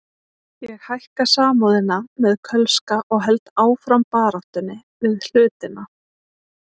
Ég hækka Samúðina með Kölska og held áfram baráttunni við hlutina.